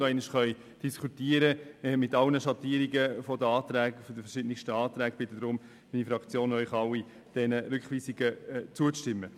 Damit wir die Anträge in all ihren Schattierungen in der Kommission nochmals diskutieren können, bittet unsere Fraktion den Rat, den Rückweisungen zuzustimmen.